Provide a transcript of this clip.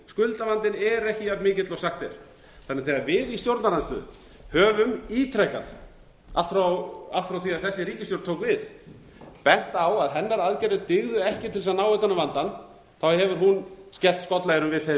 skuldavandinn er ekki jafn mikill og sagt er þannig þegar við í stjórnarandstöðu höfum ítrekað allt frá því þessi ríkisstjórn tók við bent á að hennar aðgerðir dygðu ekki til þess að ná utan um vandann hefur hann skellt skollaeyrum við þeim